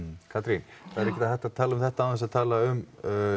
Katrín það er ekkert hægt að tala um þetta án þess að tala um